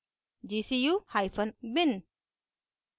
gcubin